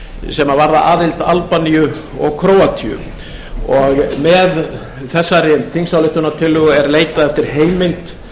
sem varða aðild albaníu og króatíu með þessari þingsályktunartillögu er leitað eftir heimild